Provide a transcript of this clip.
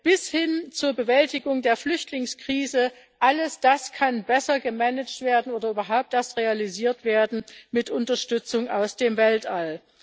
bis hin zur Bewältigung der Flüchtlingskrise All das kann besser gemanagt werden oder überhaupt erst realisiert werden mit Unterstützung aus dem Weltall.